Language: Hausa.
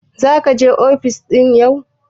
Zaka je ofis yau?